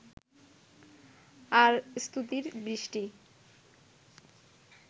আর স্তুতির বৃষ্টি